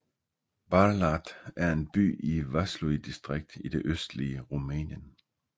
Bârlad er en by i Vaslui distrikt i det østlige Rumænien